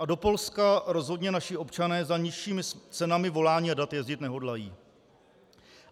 A do Polska rozhodně naši občané za nižšími cenami volání a dat jezdit nehodlají.